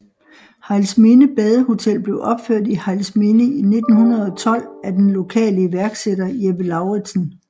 Hejlsminde Badehotel blev opført i Hejlsminde i 1912 af den lokale iværksætter Jeppe Lauridsen